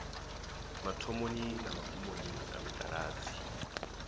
mathomoni na magumoni a mitaladzi